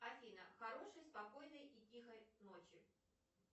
афина хорошей спокойной и тихой ночи